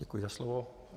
Děkuji za slovo.